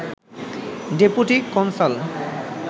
deputy consul